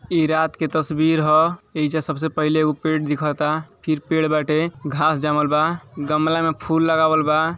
इ रात के तस्वीर ह। एहिजा सबसे पहिले ऊ पेड़ दिखता। फिर पेड़ बाटे। घांस जामल बा। गमला में फूल लगावल बा।